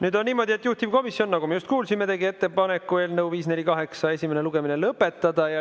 Nüüd on niimoodi, et juhtivkomisjon, nagu me just kuulsime, tegi ettepaneku eelnõu 548 esimene lugemine lõpetada.